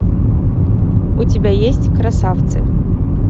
у тебя есть красавцы